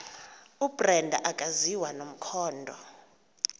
ubrenda akaziwa nomkhondo